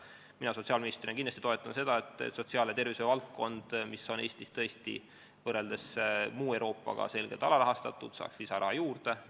Mina sotsiaalministrina kindlasti toetan seda, et sotsiaal- ja tervishoiuvaldkond, mis on Eestis võrreldes muu Euroopaga selgelt alarahastatud, saaks lisaraha juurde.